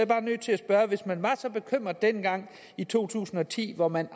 bare nødt til at spørge hvis man var så bekymrede dengang i to tusind og ti hvor man